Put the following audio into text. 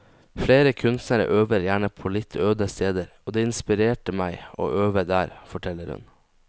Flere kunstnere øver gjerne på litt øde steder, og det inspirerte meg å øve der, forteller hun.